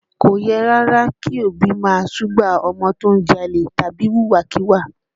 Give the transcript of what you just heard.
Kò yẹ rárá kí òbí ó máa súgbà ọmọ tó ń jalè tàbí wùwà kíwà